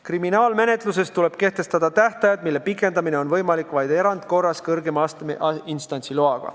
Kriminaalmenetluses tuleb kehtestada tähtajad, mille pikendamine oleks võimalik vaid erandkorras, kõrgema astme instantsi loaga.